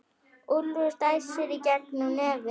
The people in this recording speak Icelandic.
Úlfur dæsir í gegnum nefið.